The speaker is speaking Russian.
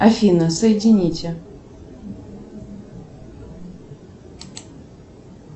афина соедините